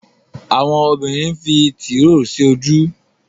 Àwọn obìrin nfí Tìróò sí ojú.